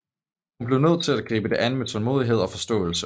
Hun bliver nødt til at gribe det an med tålmodighed og forståelse